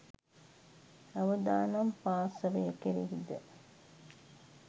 අවදානම් පාර්ශවය කෙරෙහි ද